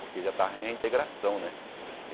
Porque já estava em reintegração, né?